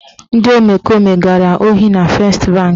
Ndị omekome gara ohi na Fest banki.